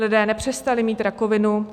Lidé nepřestali mít rakovinu.